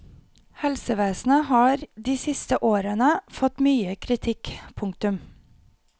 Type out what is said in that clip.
Helsevesenet har de siste årene fått mye kritikk. punktum